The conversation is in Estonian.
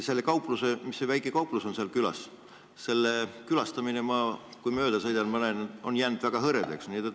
Seal külas on väike kauplus ja kui ma sealt mööda sõidan, siis ma näen, et seal käimine on jäänud väga hõredaks.